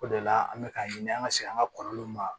O de la an bɛ k'a ɲini an ka se an ka kɔlɔlɔw ma